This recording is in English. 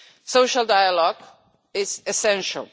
Social dialogue is essential.